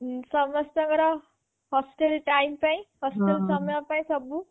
ସମସ୍ତଙ୍କର hostel time ପାଇଁ hostel ସମୟ ପାଇଁ ସବୁ